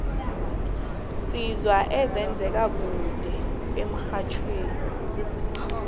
sizwa ezenze ka kude emxhajhewi